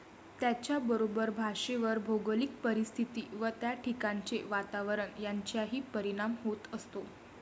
त्याचबरोबर भाषेवर भौगोलिक परिस्थिती व त्या ठिकाणांचे वातावरण यांचाही परिणाम होत असतो.